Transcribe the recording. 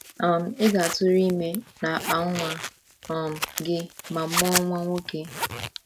“ um Ị ga - atụrụ ime n’akpa nwa um gị ma mụọ nwa nwoke ”